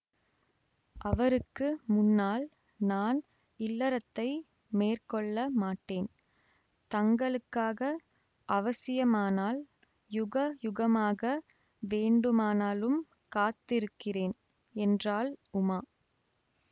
அவருக்கு முன்னால் நான் இல்லறத்தை மேற்கொள்ள மாட்டேன் தங்களுக்காக அவசியமானால் யுக யுகமாக வேண்டுமானாலும் காத்திருக்கிறேன் என்றாள் உமா